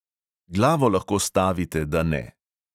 Glavo lahko stavite, da ne.